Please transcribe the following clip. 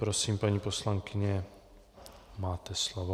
Prosím, paní poslankyně, máte slovo.